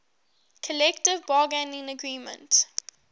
collective bargaining agreement